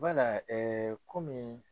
Wala kɔmi